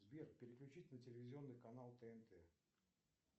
сбер переключить на телевизионный канал тнт